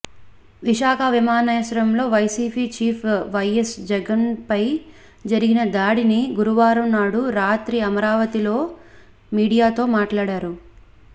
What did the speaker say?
విశాఖ విమానాశ్రయంలో వైసీపీ చీఫ్ వైఎస్ జగన్పై జరిగిన దాడిని గురువారం నాడు రాత్రి అమరావతిలో మీడియాతో మాట్లాడారు